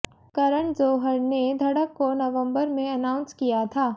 करण जौहर ने धड़क को नवंबर में अनाउंस किया था